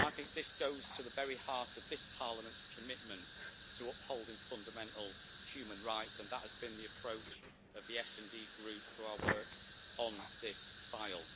This goes to the very heart of this Parliament's commitment to upholding fundamental human rights, and that has been the approach of the SD Group through our work on this file.